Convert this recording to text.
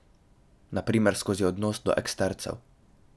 Na primer skozi odnos do ekstercev.